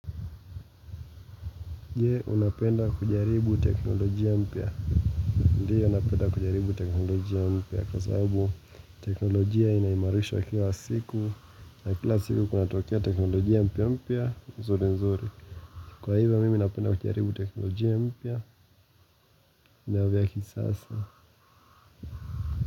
Je, unapenda kujaribu teknolojia mpya? Ndiyo, napenda kujaribu teknolojia mpya kwa sababu teknolojia inaimarishwa kila siku na kila siku kunatokea teknolojia mpya mpya, nzuri nzuri kwa hivyo, mimi napenda kujaribu teknolojia mpya na vya kisasa.